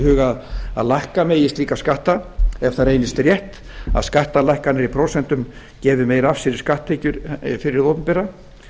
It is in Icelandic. huga að lækka megi slíkan skatt ef það reynist rétt að skattalækkanir í prósentum gefi meira af sér í skatttekjur fyrir hið opinbera